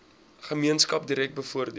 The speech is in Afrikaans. gemeenskap direk bevoordeel